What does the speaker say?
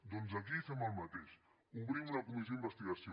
doncs aquí fem el mateix obrim una comissió d’investigació